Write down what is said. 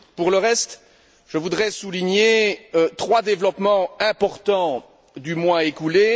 Pour le reste, je voudrais souligner trois développements importants du mois écoulé.